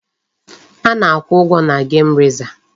A na-akwụ ụgwọ na gem rezav.